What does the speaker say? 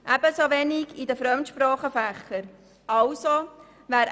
Ebenso wenig würde sie die Fremdsprachenfächer betreffen.